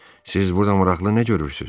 Siz burada maraqlı nə görürsüz?